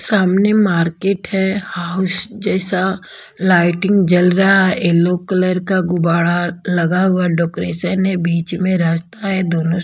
सामने मार्केट है हाउस जैसा लाइटिंग जल रहा है येल्लो कलर का गुबाड़ा लगा हुआ डेकोरेशन है बीच में रास्ता है दोनों--